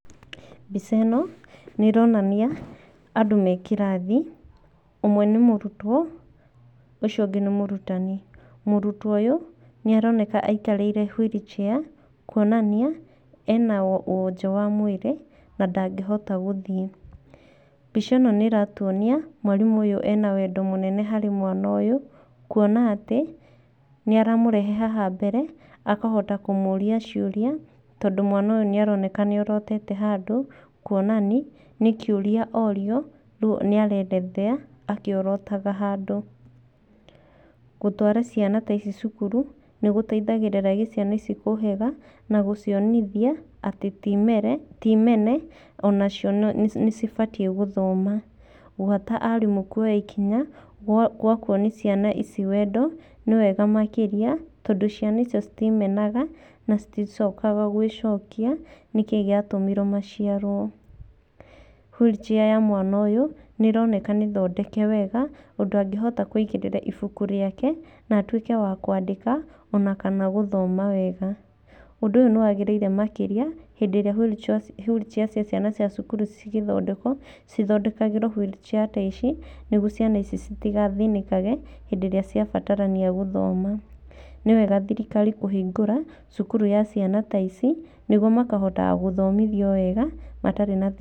Mbica ĩno, nĩ ĩronania andũ me kĩrathi. Ũmwe nĩ mũrutwo ũcio ũngĩ nĩ mũrutani. Mũrutwo ũyũ nĩ aroneka aikarĩire wheelchair, kuonania ena wonje wa mwĩrĩ na ndangĩhota gũthiĩ. Mbica ĩno nĩ ĩratuonia mwarimũ ũyũ ena wendo mũnene harĩ mwana ũyũ kuona atĩ nĩ aramũrehe haha mbere akahota kũmũria ciũria. Tondũ mwana ũyũ nĩ aroneka nĩ orotete handũ kuonania nĩ kĩuria orio rĩu nĩ anaelezea akĩorotaga handũ. Gũtwara ciana ta ici cukuru nĩ gũteithagĩrĩria ciana ici kũhĩga na gũcionithia atĩ ti mene onacio nĩ cibatiĩ gũthoma. Gwata arimũ kuoya ikinya gwa kuonia ciana ici wendo nĩ wega makĩria tondũ ciana icio citiĩmenaga na citicokaga gwĩcokia nĩkĩ gĩatũmire maciarwo. Wheelchair ya mwana ũyũ nĩ ĩroneka nĩ thondeke wega ũndũ angĩhota kũigĩrĩra ibuku rĩake na atwike wa kwandĩka ona kana gũthoma wega. Ũndũ ũyũ nĩ wagĩrĩire makĩria hĩndĩ ĩrĩa wheelchair cia ciana cia cukuru cigĩthondekwo, cithondekagĩrwo wheelchair ta ici, nĩguo ciana ici citigathĩnĩkage hĩndĩ ĩrĩa ciabatarania gũthoma. Nĩ wega thirikari kũhingũra cukuru cia ciana ta ici nĩguo makahotaga gũthomithio wega matarĩ na thĩna.